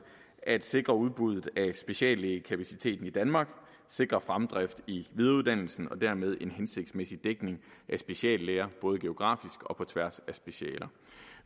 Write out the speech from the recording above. sikrer udbuddet af speciallægekapaciteten i danmark sikrer fremdrift i videreuddannelsen og dermed en hensigtsmæssigt dækning af speciallæger både geografisk og på tværs af specialer